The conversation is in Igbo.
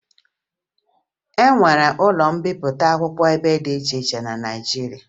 E nwere ụlọ mbipụta akwụkwọ ebe dị iche iche na Naịjirịa